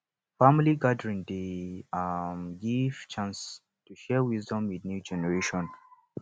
family gathering dey um give chance to share wisdom with new generation